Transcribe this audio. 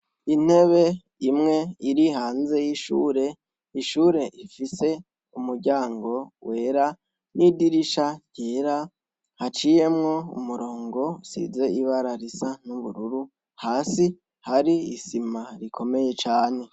Intebe imwe iri hanze y'ishure, ishure ifise umuryango wera n'idirisha ryera, haciyemwo umurongo usize ibara risa n'ubururu hasi hari isima rikomeye cane.